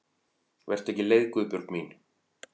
Vertu ekki leið Guðbjörg mín.